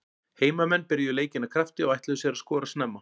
Heimamenn byrjuðu leikinn af krafti og ætluðu sér að skora snemma.